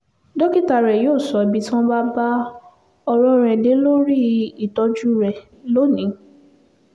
dókítà rẹ yóò sọ ibi tí wọ́n bá bá ọ̀rọ̀ dé lórí ìtọ́jú rẹ lónìí